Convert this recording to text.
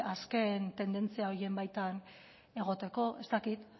azken tendentzia horien baitan egoteko ez dakit